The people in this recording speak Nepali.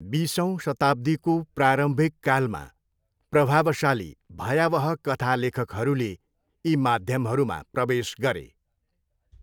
बिसौँ शताब्दीको प्रारम्भिककालमा प्रभावशाली भयावह कथा लेखकहरूले यी माध्यमहरूमा प्रवेश गरे।